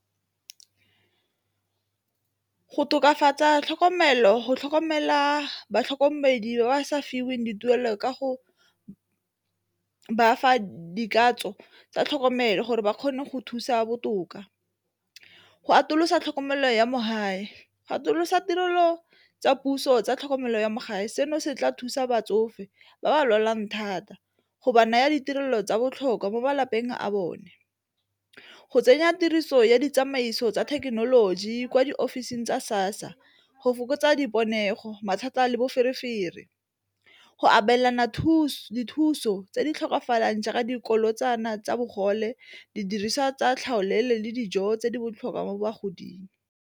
Go tokafatsa tlhokomelo, go tlhokomela batlhokomedi ba ba sa fiweng dituelo ka go bafa tsa tlhokomelo gore ba kgone go thusa botoka, go atolosa tlhokomelo ya mo gae, atolosa tirelo tsa puso tsa tlhokomelo ya mo gae seno se tla thusa batsofe ba ba lwalang thata go ba naya ditirelo tsa botlhokwa mo malapeng a bone. Go tsenya tiriso ya ditsamaiso tsa thekenoloji kwa diofising tsa SASSA go fokotsa mathata le boferefere, go abelana thuso tse di tlhokafalang jaaka dikoloto kana tsa bogole didiriswa tsa tlhaolele le dijo tse di botlhokwa mo bagoding.